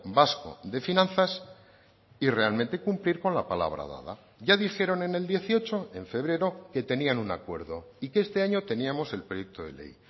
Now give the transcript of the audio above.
vasco de finanzas y realmente cumplir con la palabra dada ya dijeron en el dieciocho en febrero que tenían un acuerdo y que este año teníamos el proyecto de ley